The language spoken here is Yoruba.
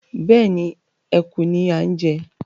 Bẹ́ẹ̀ni, Eku ni a ń jẹ